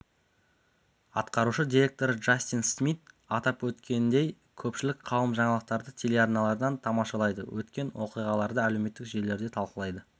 атқарушы директоры джастин смит атап өткендей көпшілік қауым жаңалықтарды телеарналардан тамашалайды өткен оқиғаларды әлеуметтік желілерде талқылайтын